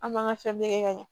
An b'an ka fɛn bɛɛ kɛ ka ɲɛ